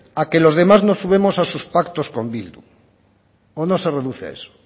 a que los demás nos sumemos a sus pactos con bildu o no se reduce a eso